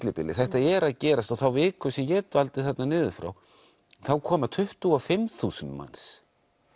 millibili þetta er að gerast og þær vikur sem ég dvaldi þarna niður frá þá koma tuttugu og fimm þúsund manns